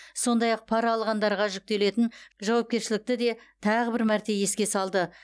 сондай ақ пара алғандарға жүктелетін жауапкершілікті де тағы бір мәрте еске салды